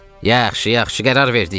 Yaxşı, yaxşı, qərar verdik.